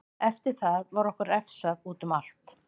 Eftir það var okkur refsað útum allt.